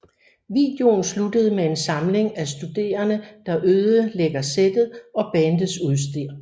Videoen sluttede med en samling af studerene der ødelægger settet og bandets udstyr